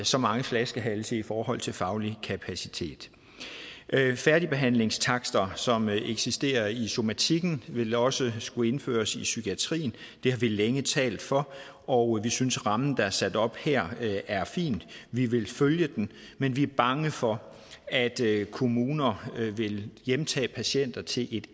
så mange flaskehalse i forhold til faglig kapacitet færdigbehandlingstakster som eksisterer i somatikken vil også skulle indføres i psykiatrien det har vi længe talt for og vi synes at rammen der er sat op her er fin vi vil følge den men vi er bange for at kommuner vil hjemtage patienter til et